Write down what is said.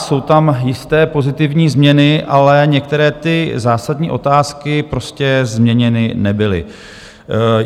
Jsou tam jisté pozitivní změny, ale některé ty zásadní otázky prostě změněny nebyly.